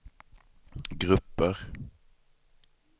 grupper